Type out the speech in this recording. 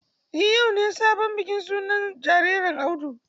Eh yau ne bikin sunan sabon jaririn Audu.